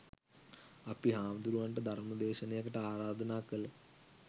අපි හාමුදුරුවන්ට ධර්ම දේශනයකට ආරාධනා කල